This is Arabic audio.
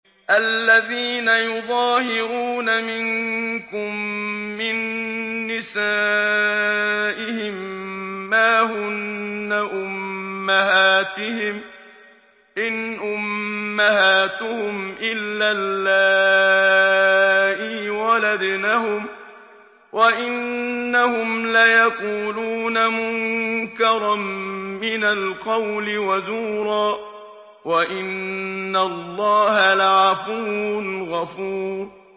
الَّذِينَ يُظَاهِرُونَ مِنكُم مِّن نِّسَائِهِم مَّا هُنَّ أُمَّهَاتِهِمْ ۖ إِنْ أُمَّهَاتُهُمْ إِلَّا اللَّائِي وَلَدْنَهُمْ ۚ وَإِنَّهُمْ لَيَقُولُونَ مُنكَرًا مِّنَ الْقَوْلِ وَزُورًا ۚ وَإِنَّ اللَّهَ لَعَفُوٌّ غَفُورٌ